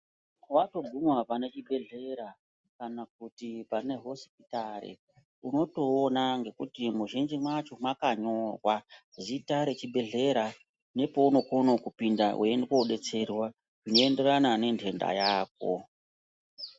Watoguma pane chibhedhlera kana pane hosipitari Unotoona ngekuti mizhinji macho makanyorwa zita rechibhedhlera nepaunokona kupinda weienda kodetserwa zveienderana nendenda Yako.